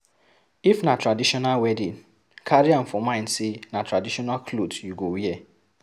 If na traditional wedding, carry am for mind sey na traditional cloth you go wear